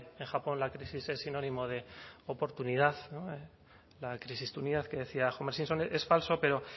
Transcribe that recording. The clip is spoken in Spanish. en japón la crisis es sinónimo de oportunidad la crisistunidad que decía es falso pero